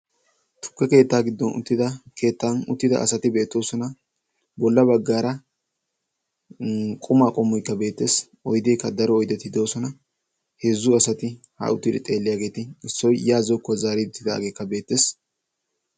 Tukke keettaa giddon uttida asati beetoosona. bolla baggaara qumaa qommoykka beettees. oyddeekka daro oyddeti doosona. heezzu haa uttidi xeelliyaageti issoy yaa xeeliyaagekka beetteess.